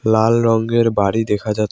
লাল রঙ্গের বাড়ি দেখা যাছ--